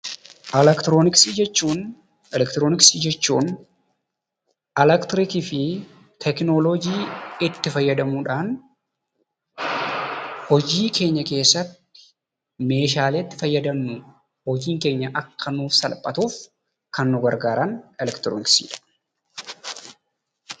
Elektirooniksii jechuun elektirikii fi tekinoloojii itti fayyadamuudhaan hojii keenya keessatti meeshaalee itti fayyadamnuu dha. Hojiin keenya akka nuuf salphatuuf kan nu gargaaran elektirooniksii dha.